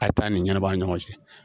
A taa ni ɲana baa ni ɲɔgɔn cɛ